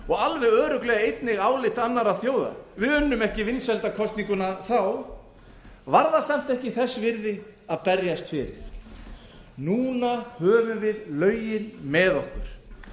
og alveg örugglega einnig álit annarra þjóða við unnum ekki vinsældakosninguna þá varð það samt ekki þess virði að berjast fyrir núna höfum við lögin með okkur